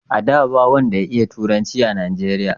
a da, ba wanda ya iya turanci a najeriya